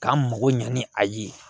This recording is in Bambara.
K'an mago ɲɛ ni a ye